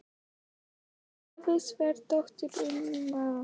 Valgerður Sverrisdóttir, utanríkisráðherra: Sko, hvaða kosti eigum við?